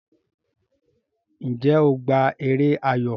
Njé o gbà èrè ayọ?